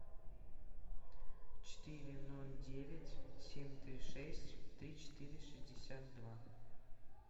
четыре ноль девять семь три шесть три четыре шестьдесят два